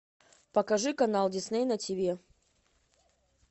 покажи канал дисней на тиви